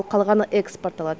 қалғаны экспортталады